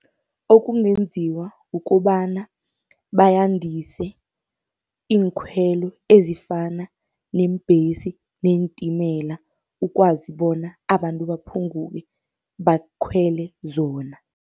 Okungenziwa kukobana, bandise iinkhwelo ezifana neembhesi neentimela, ukwazi bona abantu baphunguke bakhwele zona.